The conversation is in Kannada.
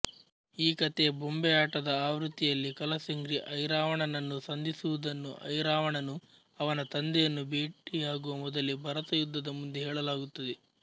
ಈ ಕಥೆಯ ಬೊಂಬೆಯಾಟದ ಆವೃತ್ತಿಯಲ್ಲಿ ಕಲಸ್ರೆಂಗಿ ಐರಾವಣನನ್ನು ಸಂಧಿಸುವುದನ್ನು ಐರಾವಣನು ಅವನ ತಂದೆಯನ್ನು ಬೆಟ್ಟಿಯಾಗುವ ಮೊದಲೇ ಭರತಯುದ್ಧದ ಮುಂದೆ ಹೇಳಲಾಗುತ್ತದೆ